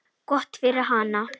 Gott fyrir hana.